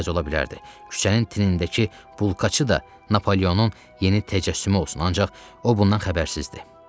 Küçənin tinindəki bulkaçı da Napoleonun yeni təcəssümü olsun, ancaq o bundan xəbərsizdir.